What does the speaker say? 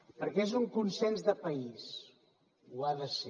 perquè és un consens de país ho ha de ser